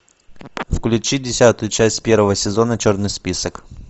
включи десятую часть первого сезона черный список